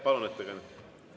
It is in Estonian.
Palun, ettekandja!